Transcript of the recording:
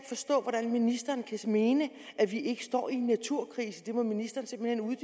forstå hvordan ministeren kan mene at vi ikke står i en naturkrise det må ministeren simpelt